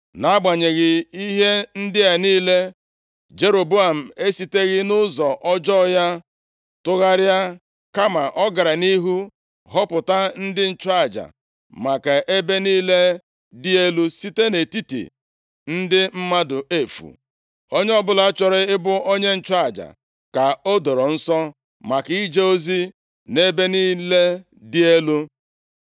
Nʼagbanyeghị ihe ndị a niile, Jeroboam esiteghị nʼụzọ ọjọọ ya tụgharịa. Kama ọ gara nʼihu họpụta ndị nchụaja maka ebe niile dị elu site nʼetiti ndị mmadụ efu. Onye ọbụla chọrọ ị bụ onye nchụaja ka o doro nsọ maka ije ozi nʼebe niile dị elu.